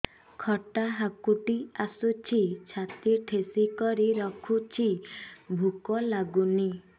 ଖଟା ହାକୁଟି ଆସୁଛି ଛାତି ଠେସିକରି ରଖୁଛି ଭୁକ ଲାଗୁନି